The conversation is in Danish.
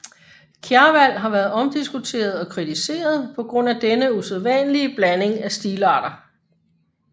Kjarval har været omdiskuteret og kritiseret på grund af denne usædvanlige blanding af stilarter